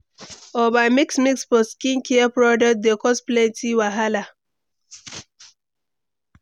Over mix mix for skincare products dey cause plenty wahala.